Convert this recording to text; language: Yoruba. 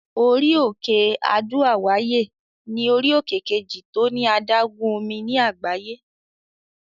Orí-òkè Adó-àwáyè ní orí-òkè kejì tó ní adágún omi ní àgbáyé.